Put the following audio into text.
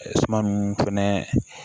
fɛnɛ